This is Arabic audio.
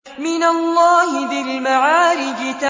مِّنَ اللَّهِ ذِي الْمَعَارِجِ